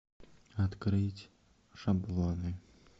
открыть шаблоны